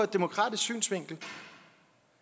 demokratisk synsvinkel